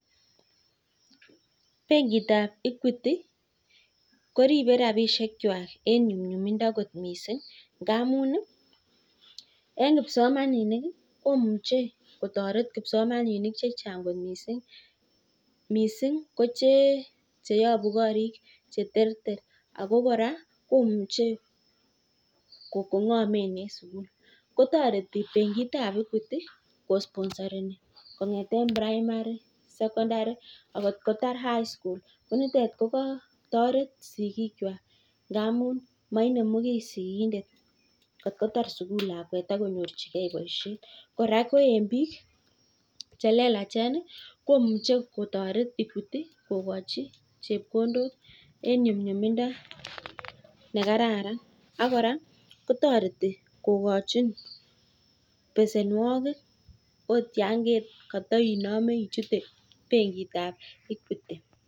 Benkit ab (equity) koribee rabishek kwak amuu eng kipsomaninik komuche kotoret chechang missing kochee abuu korik che terter kotaret kosomeshanii kora eng bik chelelachen kotaretii kokachii chepkondok eng nyumnyumindo